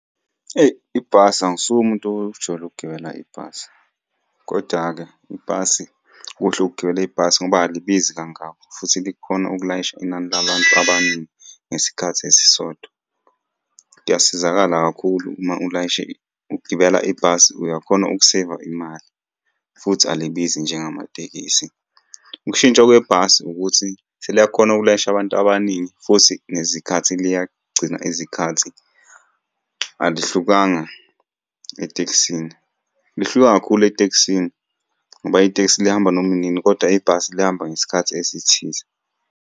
Eyi ibhasi angisuye umuntu ojwayele ukugibela ibhasi, koda-ke ibhasi, kuhle ukugibela ibhasi ngoba alibizi kangako, futhi likhona ukulayisha inani labantu abaningi ngesikhathi esisodwa. Kuyasizakala kakhulu uma ulayishe ukugibela ibhasi, uyakhona ukuseyiva imali, futhi alibizi njengamatekisi. Ukushintsha kwebhasi ukuthi seliyakhona ukulayisha abantu abaningi futhi nezikhathi liyagcina izikhathi, alihlukana etekisini. Lihluke kakhulu etekisini ngoba itekisi lihamba noma inini, koda ibhasi lihamba ngesikhathi esithize.